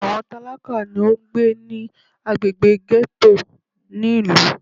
Àwọn tálákà ni ó ń gbé ní agbègbè gẹ́tò ní ìlú.